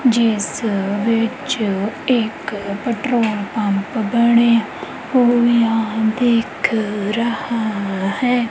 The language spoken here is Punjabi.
ਜਿੱਸ ਵਿੱਚ ਇੱਕ ਪੈਟ੍ਰੋਲ ਪੰਪ ਬਣਿਆ ਹੋਇਆ ਦਿੱਖ ਰਿਹਾ ਹੈ।